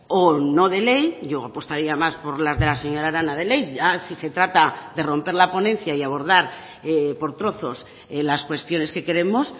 o no de ley yo apostaría más por las de la señora arana de ley ya si se trata de romper la ponencia y abordar por trozos las cuestiones que queremos